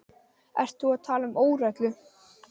Ert þú að tala um óreglu?